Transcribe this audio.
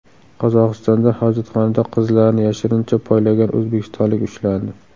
Qozog‘istonda hojatxonada qizlarni yashirincha poylagan o‘zbekistonlik ushlandi.